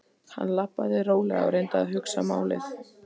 Hann labbaði rólega og reyndi að hugsa málið.